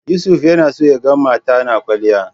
Yusuf yana son ya ga mata na kwalliya.